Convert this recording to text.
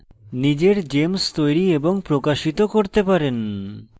নিজের gems তৈরী এবং প্রকাশিত করতে পারেন